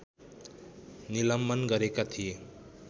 निलम्बन गरेका थिए